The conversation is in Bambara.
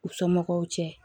U somɔgɔw cɛ